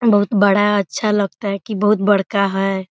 बहुत बड़ा अच्छा लगता है कि बहुत बड़का है।